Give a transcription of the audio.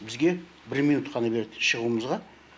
бізге бір минут қана береді шығуымызға